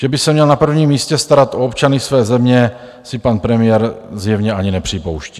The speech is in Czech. Že by se měl na prvním místě starat o občany své země, si pan premiér zjevně ani nepřipouští.